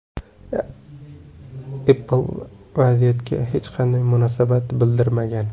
Apple vaziyatga hech qanday munosabat bildirmagan.